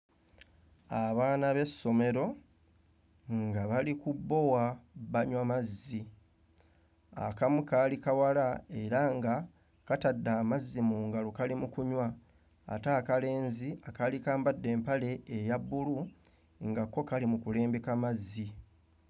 Abaana b'essomero nga bali ku bbowa banywa mazzi. Akamu kaali kawala era nga katadde amazzi mu ngalo kali mu kunywa ate akalenzi akaali kambadde empale eya bbulu nga kko kali mu kulembeka mazzi.